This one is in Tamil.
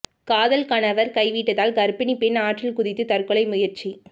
காதல் கணவர் கைவிட்டதால் கர்ப்பிணி பெண் ஆற்றில் குதித்து தற்கொலை முயற்சி